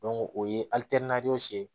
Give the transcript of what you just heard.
o ye ye